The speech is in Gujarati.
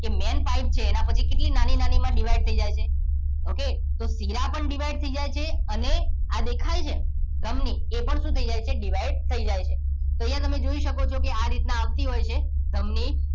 મેઇન પાઇપ છે એના પછી કેટલી નાની નાની માં ડિવાઈડ થઈ જાય છે ઓકે તો શીરા પણ ડિવાઈડ થઈ જાયછે અને આ દેખાય છે ધમની એ પણ શું થઈ જાય છે ડિવાઈડ થઈ જાય છે તો અહ્હિયા તમે જોઈ શકો છો કે આ રીતના આવતી હોય છે ધમની